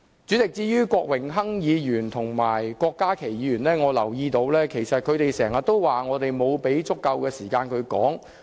主席，至於郭榮鏗議員和郭家麒議員，我留意到他們經常說我們沒有給予他們足夠的時間發言。